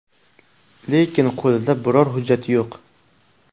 Lekin qo‘lida biror hujjati yo‘q.